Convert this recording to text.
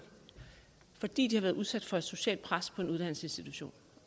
fordi de har været udsat for et socialt pres på en uddannelsesinstitution